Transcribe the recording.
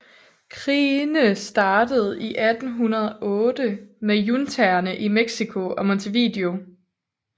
Krigene startede i 1808 med juntaerne i México og Montevideo